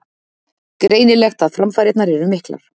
Greinilegt að framfarirnar eru miklar